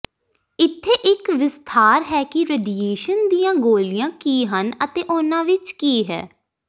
ਇੱਥੇ ਇੱਕ ਵਿਸਥਾਰ ਹੈ ਕਿ ਰੇਡੀਏਸ਼ਨ ਦੀਆਂ ਗੋਲੀਆਂ ਕੀ ਹਨ ਅਤੇ ਉਹਨਾਂ ਵਿੱਚ ਕੀ ਹੈ